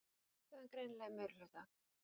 Kvenþjóðin greinilega í meirihluta.